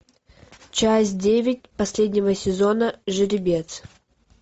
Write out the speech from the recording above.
часть девять последнего сезона жеребец